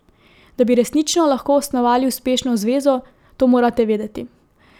Da bi resnično lahko osnovali uspešno zvezo, to morate vedeti.